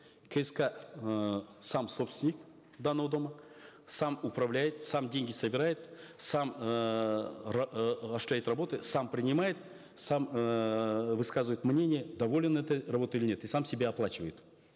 кск э сам собственник данного дома сам управляет сам деньги собирает сам осуществялет работы сам принимает сам эээ высказывает мнение доволен этой работой или нет и сам себе оплачивает